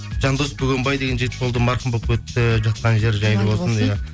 жандос бөгенбай деген жігіт болды марқұм болып кетті жатқан жері жайлы болсын